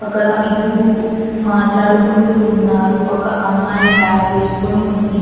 అక్కడ ఇద్దరూ మాట్లాడుకుంటూ ఉన్నారు ఒక అమ్మాయి బ్యాగ్ వేసుకొని ఉంది.